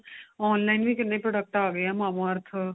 online ਵੀ ਕਿੰਨੇ product ਆ ਗਏ ਏ mamaearth